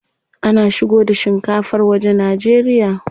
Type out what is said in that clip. Ana shigo da shinkafar waje Najeriya.